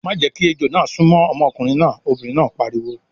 "Má jẹ́ kí ejò náà súnmọ́ ọmọkùnrin náà! Obìnrin náà pariwo.